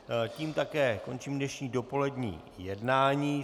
Tím také končím dnešní dopolední jednání.